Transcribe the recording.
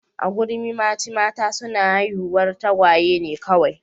A Kurumimachi mata suna haihuwar tagwaye ne kawai